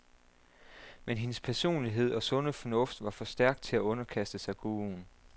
Men hendes personlighed og sunde fornuft var for stærk til at underkaste sig guruen.